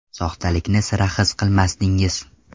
Soxtalikni sira his qilmasdingiz.